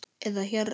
eða hérna